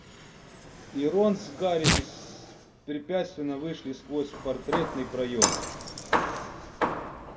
и рон с гарри беспрепятственно вышли сквозь портретный проём